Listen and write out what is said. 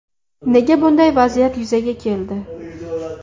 Nega bunday vaziyat yuzaga keldi?